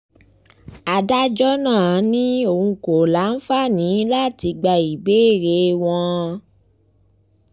adájọ́ náà ni òun kò tí ì láǹfààní láti gba bẹ́ẹ́lí wọn